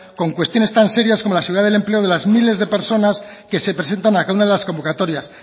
con cuestiones tan serias como la seguridad del empleo de las miles de personas que se presentan a cada una de las convocatorias